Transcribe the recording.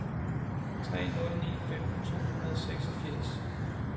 to tre nul ni femten to hundrede og seksogfirs